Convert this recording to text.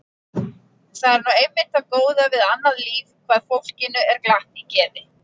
Það er nú einmitt það góða við annað líf hvað fólkinu er glatt í geði.